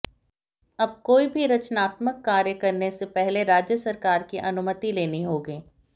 अब कोई भी रचनात्मक कार्य करने से पहले राज्य सरकार की अनुमित लेनी होगी